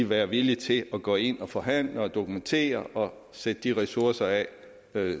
være villig til at gå ind og forhandle og dokumentere og sætte de ressourcer af